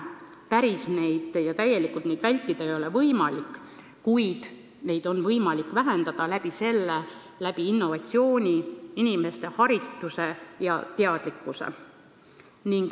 Õnnetusi päris ära hoida ja täielikult vältida ei ole võimalik, kuid neid on võimalik vähendada innovatsiooni, inimeste harituse ja teadlikkuse kaudu.